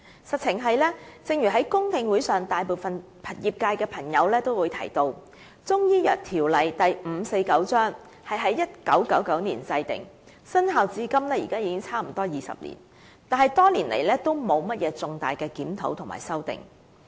事實是，正如在公聽會上大部分業界朋友也提到，《條例》在1999年制定，生效至今已接近20年，但多年來也沒有進行重大的檢討和修訂。